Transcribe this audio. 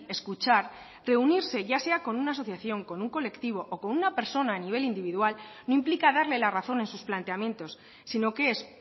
escuchar reunirse ya sea con una asociación con un colectivo o con una persona a nivel individual no implica darle la razón en sus planteamientos sino que es